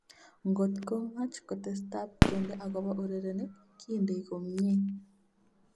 Ngotko much kotestab kende akopo urerenik - kindei komnye.